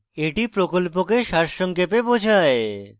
এটি প্রকল্পকে সারসংক্ষেপে বোঝায়